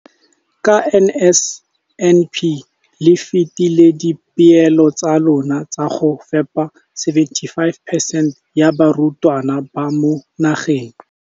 Ka NSNP le fetile dipeelo tsa lona tsa go fepa 75 percent ya barutwana ba mo nageng.